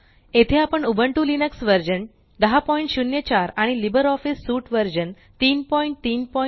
येथे आपण Ubuntu Linux version 1004 आणि लिब्रिऑफिस सूट व्हर्सन 334